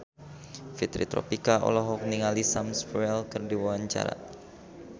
Fitri Tropika olohok ningali Sam Spruell keur diwawancara